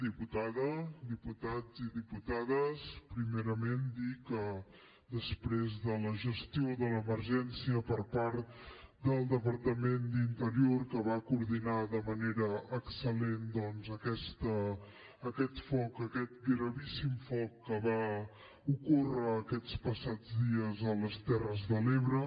diputada diputats i diputades primerament dir que després de la gestió de l’emergència per part del departament d’interior que va coordinar de manera excel·lent doncs aquest foc aquest gravíssim foc que va ocórrer aquests passats dies a les terres de l’ebre